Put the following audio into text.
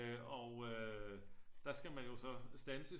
Øh og øh der skal man jo så standses